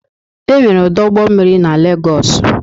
Enwere ọdụ ụgbọ mmiri na Legọọsụ.